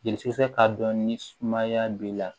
Jeli sɛgɛsɛgɛ k'a dɔn ni sumaya b'i la